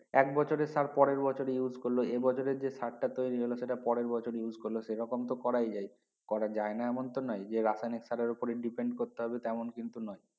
এক বছরের সার পরের বছরে use করলো এ বছরের যে সার টা তৈরি হলো সেটা পরের বছরে use করলো সে রকম তো করায় যাই করা যায় না এমন তো নয় যে রাসায়নিক সারের উপর depend করতে হতে হবে এমন কিন্তু নয়